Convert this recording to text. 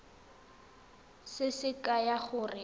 se se kaya gore o